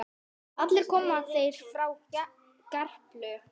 Allir koma þeir frá Gerplu.